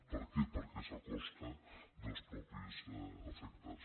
per què perquè és a costa dels mateixos afectats